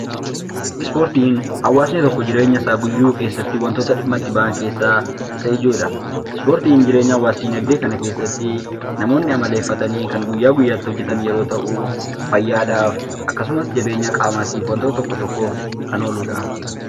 Ispoortiin wantoota hawwaasni jireenya guyya guyyaa isaa keessatti dhimma itti ba'an keessaa isa ijoodha. Ispoortiin jireenya hawwaasa dinagdee keessatti namoonni amaleeffatanii kan guyyaa guyyaa hojjetan yammuu ta'uu fayyaadhaaf akkasumas jabeenya qaamaa tokko tokkoof kan ooluu dha.